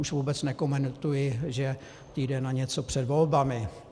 Už vůbec nekomentuji, že týden a něco před volbami.